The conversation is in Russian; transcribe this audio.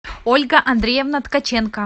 ольга андреевна ткаченко